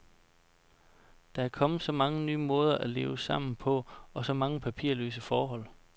Der er kommet så mange nye måder at leve sammen på og så mange papirløse forhold.